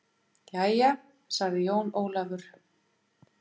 Jæja, sagði Jón Ólafur.